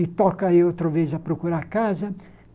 E toca eu outra vez a procurar a casa.